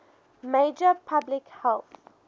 major public health